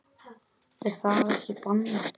Er það ekki bannað?